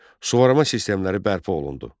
Suvarma sistemləri bərpa olundu.